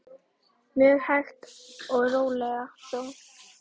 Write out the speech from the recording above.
Mjög hægt og rólega þó.